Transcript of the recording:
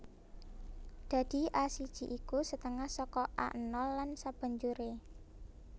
Dadi A siji iku setengah saka A nol lan sabanjuré